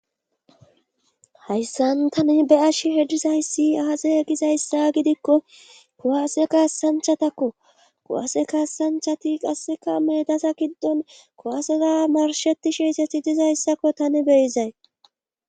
Hayssan tani be'ash heddizayssi aaze gizayssa gidikko kowase kaassanchatakko kowase kaassanchati qasseka medasa kiddon kowasera marshetishe iseti dizayssakko tani beyizay.